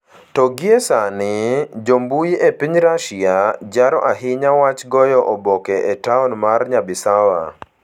To gie sani, jo mbui e piny Russia, jaro ahinya wach goyo oboke e taon mar Nyabisawa.